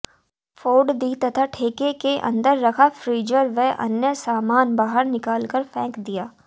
फोड़ दीं तथा ठेके के अंदर रखा फ्रीजर व अन्य सामान बाहर निकालकर फेंक दिया